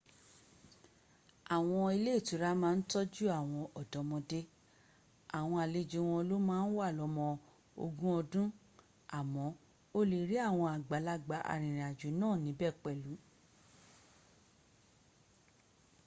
àwọn ilé ìtura ma ń tọ́jú àwọn ọ̀dọ́mọdé- àwọn àlejò wọn ló ma ń wà lọ́mọ ogún ọdún- àmọ́ o lè rí àwọn àgbàlagbà arìnrìnàjò náà níbẹ̀ pẹ̀lu